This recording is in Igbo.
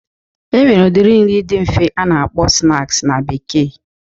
E nwere udiri nri dị nfe a na-akpọ snaks na bekee.